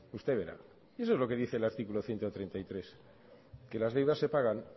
usted verá eso es lo que dice el artículo ciento treinta y tres que las deudas se pagan